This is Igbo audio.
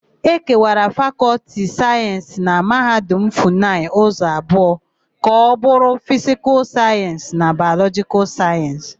Ekewara Fakọltị Sayensị na Mahadum Funayị ụzọ abụọ ka ọbụrụ Fisikal Sayensị na Bayọlọjịkal Sayensị.